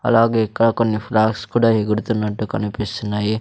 అలాగే ఇక్క కొన్ని ఫ్లాగ్స్ కూడా ఎగుడుతున్నట్టు కనిపిస్తున్నాయి.